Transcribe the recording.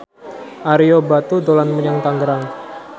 Ario Batu dolan menyang Tangerang